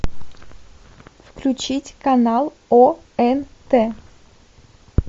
включить канал онт